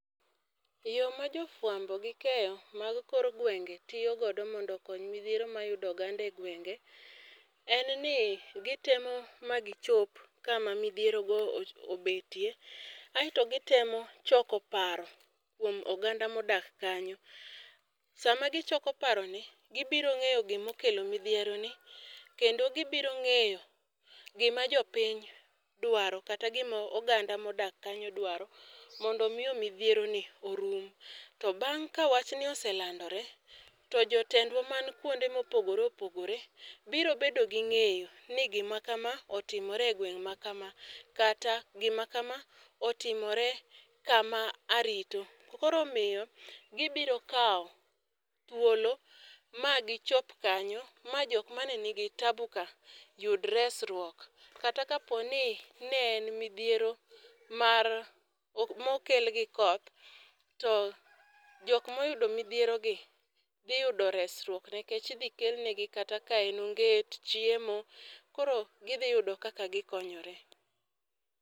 Yo ma jo fawambo gi keyo mar kor gwenge tiyo godo mondo okony midhiero ma yudo oganda e gwenge en ni gi temo ma gi chop kama midhiero obetie kasto gi temo choko paro kuom oganda ma odak kanyo. Saa ma gi choko paro ni gi biro ng'eyo gi ma okelo midhiero ni kendo gi biro ng'eyo gi ma jo piny dwaro kata gi ma oganda ma odak kanyo dwaro mondo mi midhiero ni orum. To bang' ka wach ni oselandore to jotendwa man kuonde ma opogore opogore biro bedo gi ng'eyo ni gi ma ka ma otimore e gweng' ma ka ma kata gi ma ka otimore e ka ma arito. Koro omiyo gi biro kawo thuolo ma gi chop kanyo ma jo ma ni gi taabu ka yud resruok. Kata ka po ni ne en midhiero mar ma okel gi koth to jok ma oyudo midhiero ni dhi yudo resruok nikech idhi kel ne gi kata ka en onget, chiemo, koro gi dhi yudo kaka gi konyore.